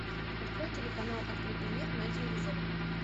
открой телеканал открытый мир на телевизоре